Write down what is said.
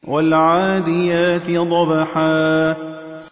وَالْعَادِيَاتِ ضَبْحًا